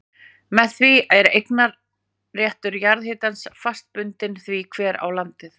Með því er eignarréttur jarðhitans fast bundinn því hver á landið.